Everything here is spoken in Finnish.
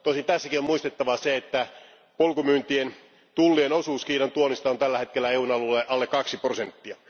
Tosin tässäkin on muistettava se, että polkumyyntien tullien osuus Kiinan tuonnista on tällä hetkellä EUn alueelle alle kaksi prosenttia.